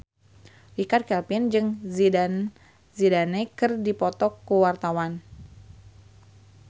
Richard Kevin jeung Zidane Zidane keur dipoto ku wartawan